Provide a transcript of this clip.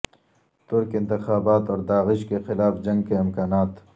ترک انتخابات اور داعش کے خلاف جنگ کے امکانات